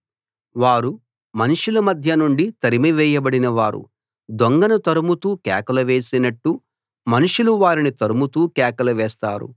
వారు మనుషుల మధ్య నుండి తరిమివేయబడిన వారు దొంగను తరుముతూ కేకలు వేసినట్టు మనుషులు వారిని తరుముతూ కేకలు వేస్తారు